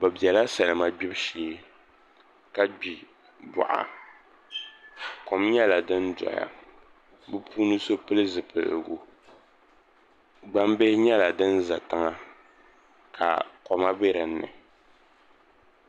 Bi biɛla salima gbibu shee ka gbi boɣa kom nyɛla din doya bi puuni so pili zipiligu gbambili nyɛla din ʒɛ tiŋa ka koma bɛ dinni